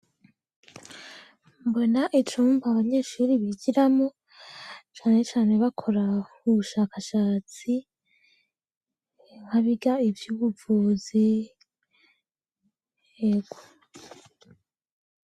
Mbona icumba, abanyeshuri bigiramwo cane cane bakora ubushakashatsi nk'abiga ivy'ubuvuzi, ego.